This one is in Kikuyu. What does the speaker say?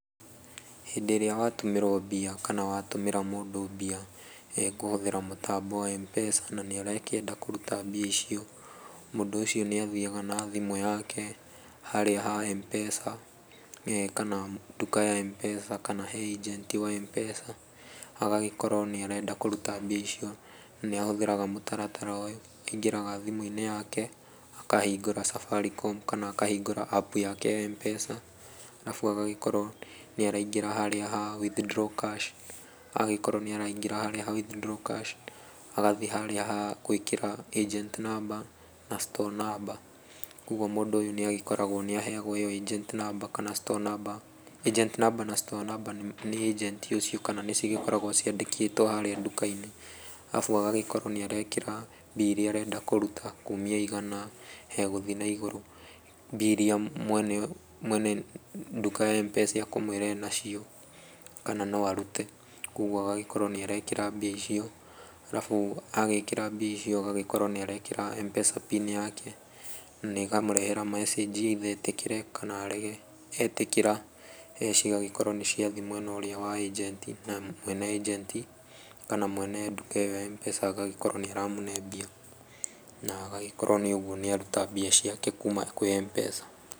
Hĩndĩ ĩrĩa watũmĩrwo mbia kana watũmĩra mũndũ mbia, kũhũthĩra mũtambo wa Mpesa na nĩ arakĩenda kũruta mbia icio, mũndũ ũcio nĩ athiaga na thimũ yake, harĩa ha Mpesa he nduka ya Mpesa kana ĩnjenti wa Mpesa, agagĩkorwo nĩ arenda kũruta mbia icio, nĩ ahũthĩraga mũtaratara ũyũ, aingĩraga thimũ-inĩ yake akahingũra Safaricom, kana akahingũra apu yake ya Mpesa, arabu agagĩkorwo nĩ araingĩra harĩa ha withdraw cash, agĩkorwo nĩ araingĩra harĩa ha withdraw cash, agathiĩ harĩa ha gwĩkĩra agent number na store number koguo mũndũ ũyũ nĩ agĩkoragwo nĩ aheagwo ĩyo agent number kana store number. Agent number na store number nĩ ĩjenti ũcio kana nĩ cigĩkoragwo ciandĩkĩtwo harĩa nduka-inĩ arabu agagĩkorwo nĩ arekĩra mbia iria arenda kũruta kumia igana gũthiĩ na igũrũ, mbia iria mwene mwene nduka ya Mpesa akũmwĩra enacio kana no arute, koguo agagĩkorwo nĩ arekĩra mbia icio, arabu agĩkĩra mbia icio agagĩkorwo nĩ arekĩra Mpesa pin yake, na ĩkamũrehera message either etĩkĩre kana arege, etĩkĩra mbeca cigagĩkorwo nĩ ciathiĩ mwena ũrĩa wa ĩnjenti, na mwene ĩnjenti kana mwene nduka ĩyo ya mpesa agagĩkorwo nĩ aramũne mbia, na agagĩkorwo nĩ ũguo nĩ aruta mbia ciake kuuma kwĩ Mpesa.